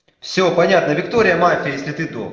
всё понятно виктория мафия если ты док